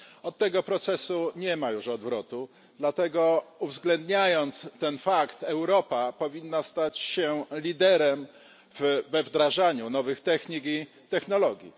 Od tego procesu nie ma już odwrotu, dlatego, uwzględniając ten fakt, Europa powinna stać się liderem we wdrażaniu nowych technik i technologii.